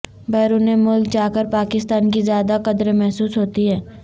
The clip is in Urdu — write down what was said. بیرون ملک جاکر پاکستان کی زیادہ قدر محسوس ہوتی ہے